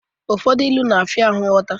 Ilu ụfọdụ na-afia ahụ ighọta.